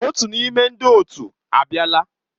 Otu n'ime ndị otu a abịala.